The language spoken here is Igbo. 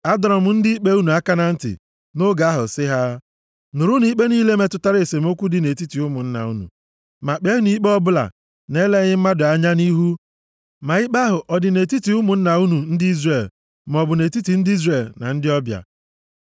Adọrọ m ndị ikpe unu a aka na ntị nʼoge ahụ sị ha, “Nụrụnụ ikpe niile metụtara esemokwu dị nʼetiti ụmụnna unu, ma kpeenụ ikpe ọbụla na-eleghị mmadụ anya nʼihu ma ikpe ahụ ọ dị nʼetiti ụmụnna unu ndị Izrel, maọbụ nʼetiti ndị Izrel na ndị ọbịa.